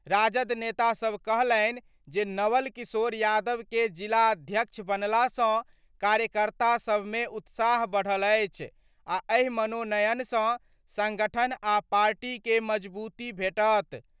राजद नेतासभ कहलनि जे नवल किशोर यादव कें जिलाध्यक्ष बनला सं कार्यकर्ता सभ मे उत्साह बढ़ल अछि आ एहि मनोनयन सं संगठन आ पार्टी के मजबूती भेटत।